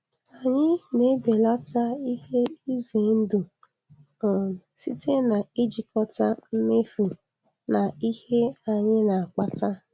Anyị na-ebelata ihe ize ndụ um site n'ijikọta mmefu na ihe anyị na-akpata.